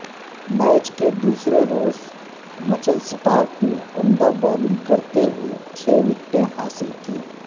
match کے دوسرے روز مچل سٹارک نے عمدہ بولنگ کرتے ہوئے چھ وکٹیں حاصل کیں